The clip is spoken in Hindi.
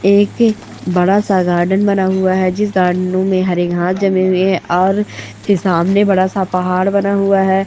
एक बड़ा सा गार्डन बना हुआ हैं जिस गार्डन ओ में हरे घास जमे हुए हैं और की सामने बड़ा सा पहाड़ बना हुआ हैं।